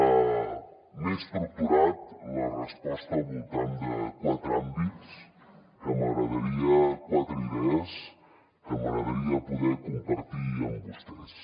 m’he estructurat la resposta al voltant de quatre àmbits quatre idees que m’agradaria poder compartir amb vostès